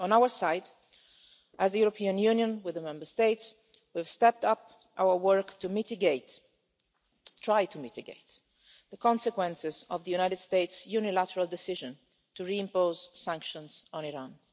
On our side, as the European Union, with the Member States, we've stepped up our work to try to mitigate the consequences of the United States' unilateral decision to re impose sanctions on Iran.